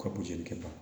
Ka boli kɛ tan